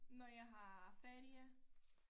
Når jeg har ferie